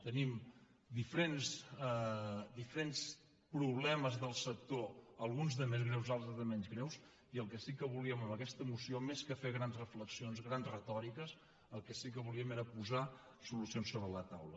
tenim diferents problemes del sector alguns de més greus altres de menys greus i el que sí que volíem amb aquesta moció més que fer grans reflexions grans retòriques era posar solucions sobre la taula